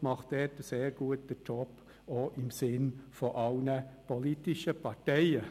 Er macht dort einen sehr guten Job, auch im Sinn aller politischen Parteien.